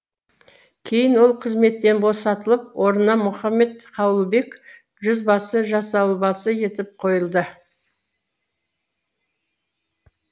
кейін ол қызметтен босатылып орнына мұхаммед қауылбек жүзбасы жасауылбасы етіп қойылды